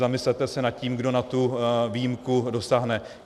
Zamyslete se nad tím, kdo na tu výjimku dosáhne.